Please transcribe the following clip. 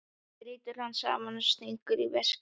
Brýtur hann saman og stingur í veskið.